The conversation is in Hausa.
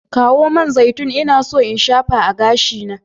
Kawo man zaitun, ina so in shafa a gashina.